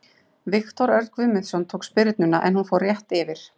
Viktor Örn Guðmundsson tók spyrnuna en hún fór rétt yfir.